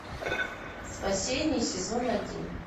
спасение сезон один